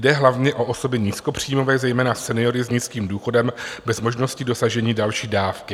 Jde hlavně o osoby nízkopříjmové, zejména seniory s nízkým důchodem bez možnosti dosažení další dávky.